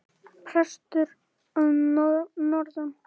Prestur að norðan!